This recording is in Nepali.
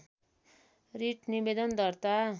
रिट निवेदन दर्ता